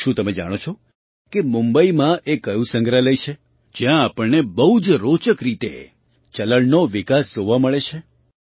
શું તમે જાણો છો કે મુંબઈમાં એ કયું સંગ્રહાલય છે જ્યાં આપણને બહુ જ રોચક રીતે ચલણ કરન્સીનો વિકાસ ઇવૉલ્યૂશન જોવા મળે છે